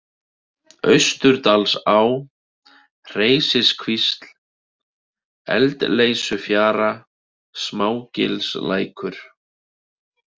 Austurdalsá, Hreysiskvísl, Eldleysufjara, Smágilslækur